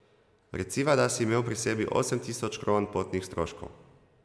Reciva, da si imel pri sebi osem tisoč kron potnih stroškov.